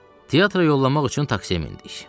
Teatra yollanmaq üçün taksiyə mindik.